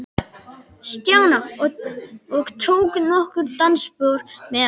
Stjána og tók nokkur dansspor með hann.